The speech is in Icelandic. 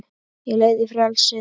Á leið í frelsið